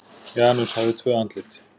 Janus hafði tvö andlit.